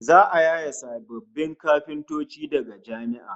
Za'a yaye sababbin kafintoci daga jami'a